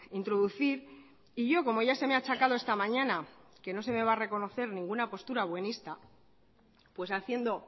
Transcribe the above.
introducir y yo como ya se me ha achacado esta mañana que no sé me va a reconocer ninguna postura buenista pues haciendo